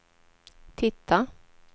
titta